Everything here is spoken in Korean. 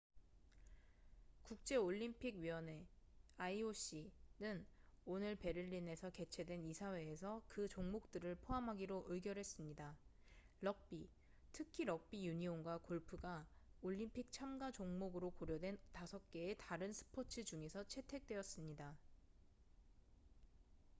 국제 올림 픽위원회 ioc는 오늘 베를린에서 개최된 이사회에서 그 종목들을 포함하기로 의결했습니다. 럭비 특히 럭비 유니온과 골프가 올림픽 참가종목으로 고려된 5개의 다른 스포츠 중에서 채택되었습니다